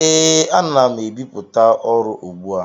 Ee, ana m ebipụta ọrụ ugbu a.